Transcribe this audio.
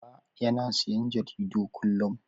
Uba yana siyan jaridu kullum.